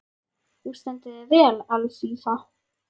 Þú stendur þig vel, Alfífa!